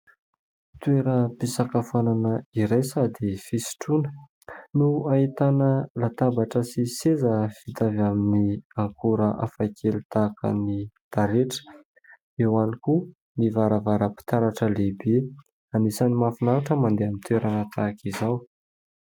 Toeram-pisakafoanana iray sady fisotroana no ahitana latabatra sy seza vita avy amin'ny akora hafakely tahaka ny taretra eo ihany koa ny varavaram-pitaratra lehibe anisany mahafinaritra ny mandeha amin'ny toerana tahaka izao